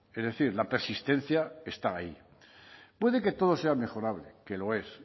es decir la persistencia está ahí puede que todo sea mejorable que lo es